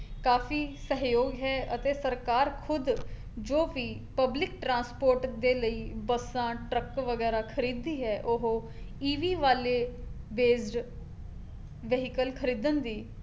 ਕਾਫੀ ਸਹਿਯੋਗ ਹੈ ਅਤੇ ਸਰਕਾਰ ਖੁਦ ਜੋ ਵੀ ਪਬਲਿਕ ਟ੍ਰਾੰਸਪੋਰਟ ਦੇ ਲਈ ਬੱਸਾਂ, ਟਰੱਕ ਵਗੈਰਾ ਖਰੀਦਦੀ ਹੈ ਉਹ EV ਵਾਲੇ vehicle ਖਰੀਦਣ ਦੀ